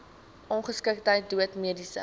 ongeskiktheid dood mediese